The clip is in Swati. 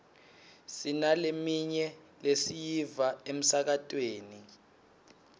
sinaleminye lesiyiva emsakatweni